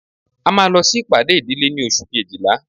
a máa lọ sí ìpàdé ìdílé ní oṣù kejìlá